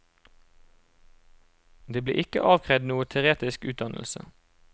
Det ble ikke avkrevd noen teoretisk utdannelse.